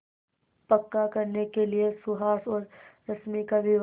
पक्का करने के लिए सुहास और रश्मि का विवाह